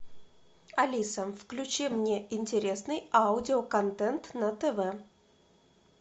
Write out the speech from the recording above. алиса включи мне интересный аудиоконтент на тв